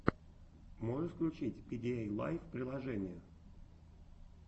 можешь включить пидиэйлайф приложения